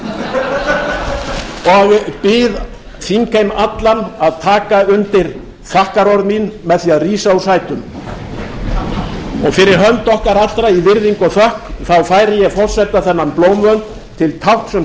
og bið þingheim allan að taka undir þakkarorð mín með því að rísa úr sætum fyrir hönd okkar allra í virðingu og þökk færi ég forseta þennan blómvönd til tákns um það að